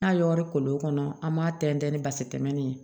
N'a y'o kolo kɔnɔ an b'a tɛntɛn ni basi tɛmɛnen ye